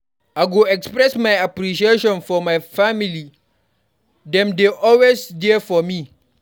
I go express my appreciation for my family; dem dey always there for me.